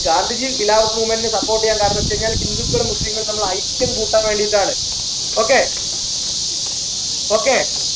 Gandhiji Khilafath movement നു support ചെയ്യാന കാരണംന്ന് വെച്ച് കഴിഞ്ഞാൽ ഹിന്ദുക്കളും മുസ്ലീങ്ങളും തമ്മിലുള്ള ഐക്യം കൂട്ടാൻ വേണ്ടിയിട്ടാണ് okay okay